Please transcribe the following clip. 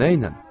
Nəylə?